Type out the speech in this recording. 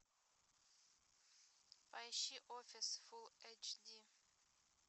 поищи офис фулл эйч ди